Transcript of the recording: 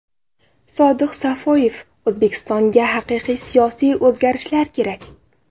Sodiq Safoyev: O‘zbekistonga haqiqiy siyosiy o‘zgarishlar kerak.